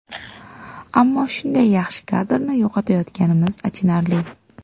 Ammo shunday yaxshi kadrni yo‘qotayotganimiz achinarli.